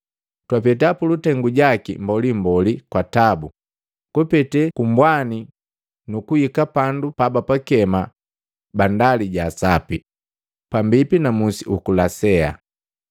Twapeta pulutengu jaki mbolimboli kwa tabu kupete kumbwani nukuhika pandu pabapakema, “Bandali ja asapi,” pambipi na musi uku Lasea.